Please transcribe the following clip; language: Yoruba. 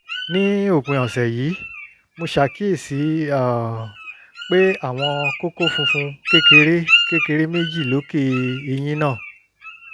ní òpin ọ̀sẹ̀ yìí mo ṣàkíyèsí um pé àwọn kókó funfun kékeré kékeré méjì lókè eyín náà